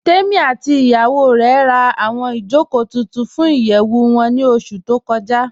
Tèmí àti ìyàwó rè rá awọn ìjọkò tuntun fún ìyẹwu wọn ni oṣù tó kọja